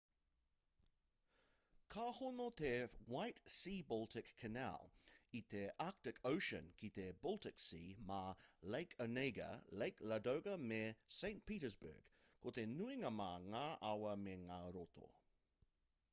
ka hono te white sea-baltic canal i te arctic ocean ki te baltic sea mā lake onega lake ladoga me saint petersburg ko te nuinga mā ngā awa me ngā roto